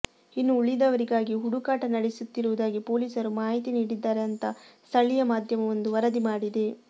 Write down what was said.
ಇನ್ನು ಉಳಿದವರಿಗಾಗಿ ಹುಡುಕಾಟ ನಡೆಸುತ್ತಿರುವುದಾಗಿ ಪೊಲೀಸರು ಮಾಹಿತಿ ನೀಡಿದ್ದಾರೆ ಅಂತ ಸ್ಥಳೀಯ ಮಾಧ್ಯಮವೊಂದು ವರದಿ ಮಾಡಿದೆ